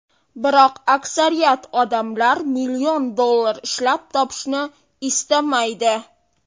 Biroq aksariyat odamlar million dollar ishlab topishni istamaydi.